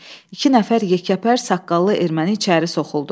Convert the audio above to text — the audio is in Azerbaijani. İki nəfər yekəpər saqqallı erməni içəri soxuldu.